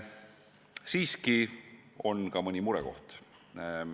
Siiski on ka mõni murekoht.